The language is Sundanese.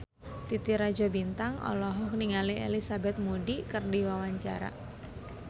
Titi Rajo Bintang olohok ningali Elizabeth Moody keur diwawancara